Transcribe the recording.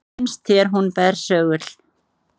Finnst þér hún bersögul?